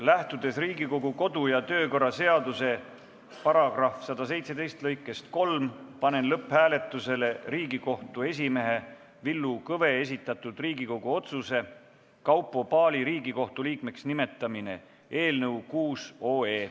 Lähtudes Riigikogu kodu- ja töökorra seaduse § 117 lõikest 3, panen lõpphääletusele Riigikohtu esimehe Villu Kõve esitatud Riigikogu otsuse "Kaupo Paali Riigikohtu liikmeks nimetamine" eelnõu.